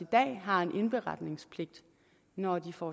dag har en indberetningspligt når de får